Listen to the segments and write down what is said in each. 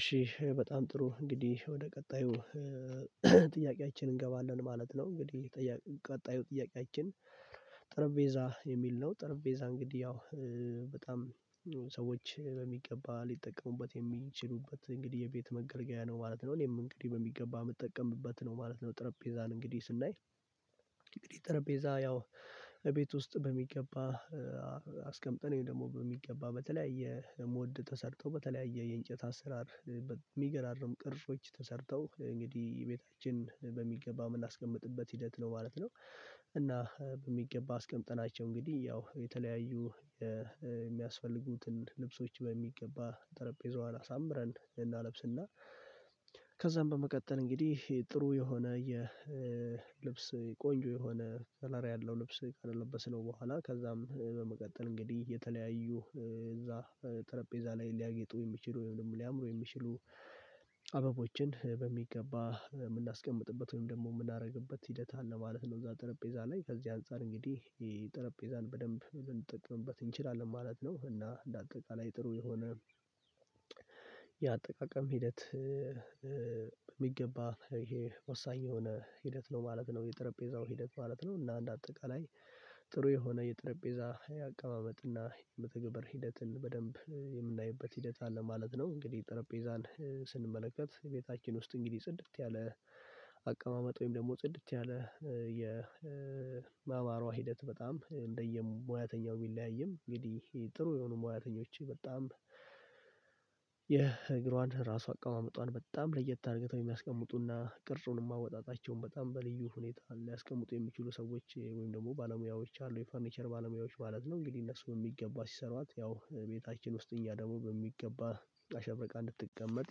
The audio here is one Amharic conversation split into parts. እሺ በጣም ጥሩ እንግዲህ ወደ ቀጣዩ ጥያቄ እንገባለን ማለት ነው። እንግዲህ ጠያ ቀጣዩ ጥያቄያችን ጠረንጴዛ የሚል ነው። ጠረጴዛ እንግዲህ ያው በጣም ሰዎች በሚገባ ሊጠቀሙበት የሚችሉበት እንግዲህ የቤት መገልገያ ነው ማለት ነው። እኔም እንግዲህ በሚገባ የምጠቀምበት ነው ማለት ነው። ጠረጴዛን እንግዲህ ስናይ እንግዲህ ጠረጴዛ ያው እቤት ውስጥ በሚገባ አስቀምጠን ወይም ደግሞ በሚገባ በተለያየ ሞድ ተሰርቶ በተለያየ የእንጨት አሰራር በሚገራርም ቅርሶች ተሰርተው እንግዲህ ቤታችን በሚገባ ምን ላስቀምጥበት ሂደት ነው ማለት ነው። እና በሚገባ አስቀምጠናቸው እንግዲህ ያው የተለያዩ የሚያስፈልጉትን ልብሶች በሚገባ ጠረጴዛዋን አሳምረን እናለብስና ከዛም በመቀጠል እንግዲህ ጥሩ የሆነ የልብስ ቆንጆ የሆነ ከለር ያለው ልብስ ካልለበሰው በኋላ ከዛም በመቀጠል እንግዲህ የተለያዩ እዛ ጠረጴዛ ላይ ሊያጌጡ የሚችሉ ወይም ደግሞ ሊያምሩ የሚችሉ አበቦችን በሚገባ የምናስቀምጥበት ወይም ደግሞ የምናደርግበት ሂደት አለ ማለት ነው። እዛ ጠረጴዛ ላይ ከዚህ አንፃር እንግዲህ ጠረጴዛን በደንብ ልንጠቅምበት እንችላለን ማለት ነው። እና እንደ አጠቃላይ ጥሩ የሆነ የአጠቃቀም ሂደት የሚገባ ይሄ ወሳኝ የሆነ ሂደት ነው ማለት ነው። የጠረጴዛው ሂደት ማለት ነው እና እንደ አጠቃላይ ጥሩ የሆነ የጠረጴዛ ያቀማመጥና የመተግበር ሂደትን በደንብ የምናይበት ሂደት አለ ማለት ነው። እንግዲህ ጠረጴዛን ስንመለከት ቤታችን ውስጥ እንግዲህ ጽድት ያለ አቀማመጥ ወይም ደግሞ ጽድት ያለ የ የማማሯ ሂደት በጣም እንደየሙያተኛው ቢለያይም እንግዲህ ጥሩ የሆኑ ሙያተኞች በጣም የእግሯን ራሱ አቀማመጧን በጣም ለየት አድርገው የሚያስቀምጡና ቅርጹን ማወጣጣቸውን በጣም በልዩ ሁኔታ ሊያስቀምጡ የሚችሉ ሰዎች ወይም ደግሞ ባለሙያዎች አሉ የፈርኒቸር ባለሙያዎች ማለት ነው። እንግዲህ እነሱ በሚገባ ሲሰሯት ያው ቤታችን ውስጥ እኛ ደግሞ በሚገባ አሸብረቃ እንድትቀመጥ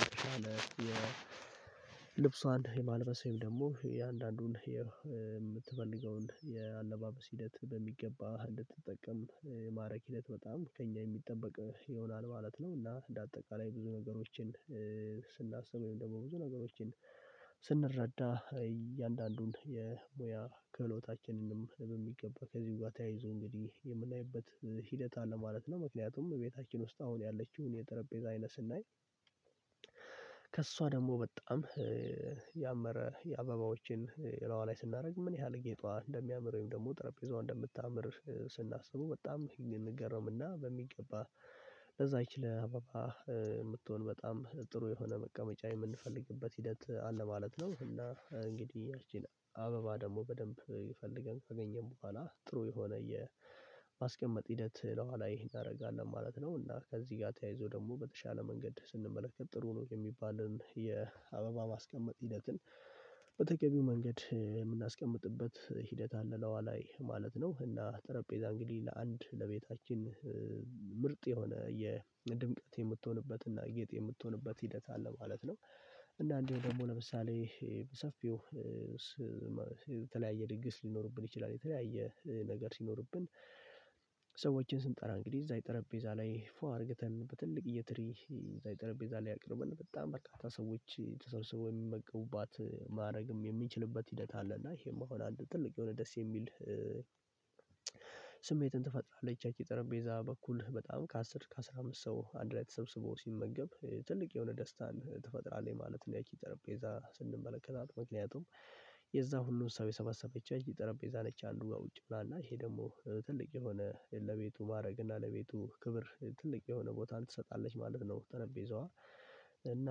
የተሻለ የልብሷን የማልበስ ደግሞ የአንዳንዱን የምትፈልገውን የአለባበስ ሂደት እንድትጠቀም ማድረግ ሂደት በጣም ከእኛ የሚጠበቅ ይሆናል ማለት ነው። እና እንደ አጠቃላይ ብዙ ነገሮችን ስናስብ ወይም ደግሞ ብዙ ነገሮችን ስንረዳ እያንዳንዱን የሙያ ከህሎታችንንም በሚገባ ከዚህ ጋር ተያይዞ እንግዲህ የምናይበት ሂደት አለ ማለት ነው። ምክንያቱም ቤታችን ውስጥ አሁን ያለችውን የጠረጴዛ አይነት ስናይ ከእሷ ደግሞ በጣም ያመረ የአበባዎችን እላይዋ ላይ ስናደርግ ምን ያህል ጌጧ እንደሚያምር ወይም ደግሞ ጠረጴዛው እንደምታምር ስናስበው በጣም ልንገረምና በሚገባ ለዛ ይችላል አባባ የምትሆን በጣም ጥሩ የሆነ መቀመጫ የምንፈልግበት ሂደት አለ ማለት ነው። እና እንግዲህ ያችን አበባ ደግሞ በደንብ ይፈልገን ከገኘን በኋላ ጥሩ የሆነ የማስቀመጥ ሂደት ለኋላ ይሄን አደርጋለሁ ማለት ነው። እና ከዚህ ጋር ተያይዞ ደግሞ በተሻለ መንገድ ስንመለከት ጥሩ ነው የሚባለውን የአበባ ማስቀመጥ ሂደትን በተገቢው መንገድ የምናስቀምጥበት ሂደት አለ ላይዋ ላይ ማለት ነው። እና ጠረጴዛ እንግዲህ ለአንድ ለቤታችን ምርጥ የሆነ የድምቀት የምትሆንበት እና ጌጥ የምትሆንበት ሂደት አለ ማለት ነው። እንደአንዱ ደግሞ ለምሳሌ በሰፊው በተለያየ ድግስ ሊኖርብን ይችላል የተለያየ ነገር ሲኖርብን ሰዎችን ስንጠራ እንግዲህ እዛ የጠረጴዛ ላይ ፉ አድርገተን በትልቅ እየተረፈ ይዛ ይጠረጴዛ ላይ ያቅርብን በጣም በርካታ ሰዎች ተሰርስበው የሚመገቡባት ማድረግም የሚችልበት ሂደት አለ። እና ይሄም አሁን አንድ ትልቅ የሆነ ደስ የሚል ስሜትን ትፈጥራለህ እቻች የጠረጴዛ ቤዛ በኩል በጣም ከአስር ከአስራ አምስት ሰው አንድ ላይ ተሰብስቦ ሲመገብ ትልቅ የሆነ ደስታን ትፈጥራለህ ማለት ነው። ያኪ ጠረጴዛ ስንመለከታት ምክንያቱም የዛ ሁሉ እሳቤ ሰበሰበችዋት ጥረቤዛ ለች አሉ ጋር ውጪ ምናምን እና ይሄ ደግሞ ትልቅ የሆነ ለቤቱ ማድረግ እና ለቤቱ ክብር ትልቅ የሆነ ቦታን ትሰጣለች ማለት ነው። ጠረጴዛዋ እና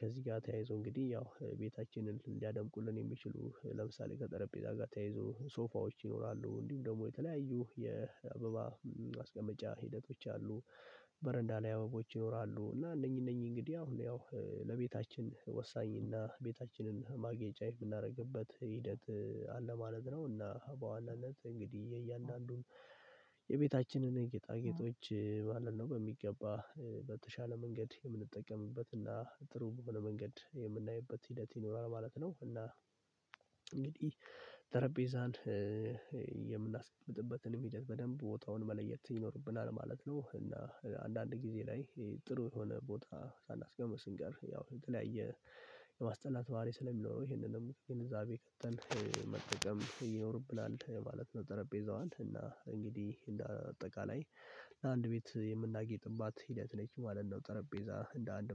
ከዚህ ጋር ተያይዞ እንግዲህ ያው ቤታችንን ሊያደምቁልን የሚችሉ ለምሳሌ ከጠረጴዛ ጋር ተያይዞ ሶፋዎች ይኖራሉ እንዲሁም ደግሞ የተለያዩ የአበባ አስቀመጫ ሂደቶች አሉ። በረንዳ ላይ አበባዎች ይኖራሉ እና እነኚህ እነኚህ እንግዲህ አሁን ያው ለቤታችን ወሳኝና ቤታችንን ማግኘጫ የምናደርግበት ሂደት አለ ማለት ነው። እና በዋናነት እንግዲህ የእያንዳንዱን የቤታችንን ጌጣጌጦች ባለን ነው በሚገባ በተሻለ መንገድ የምንጠቀምበትና ጥሩ በመንገድ የምናይበት ሂደት ይኖራል ማለት ነው። እና እንግዲህ ጠረጴዛን የምናስቀምጥበትንም ሂድት በደንብ ቦታውን መለየት ይኖርብናል ማለት ነው። እና አንዳንድ ጊዜ ላይ ጥሩ የሆነ ቦታ ሳናስገምር ስንቀር ያው የተለያየ የማስጠላት ባህሪ ስለሚኖረው ይሄንን ደግሞ ከገንዘብ የቀጠል መጠቀም ይኖርብናል ማለት ነው። ጠረጴዛዋን እና እንግዲህ እንደ አጠቃላይ ለአንድ ቤት የምናጌጥባት ሂደት ነች ማለት ነው። ጠረጴዛ እንደ አንድ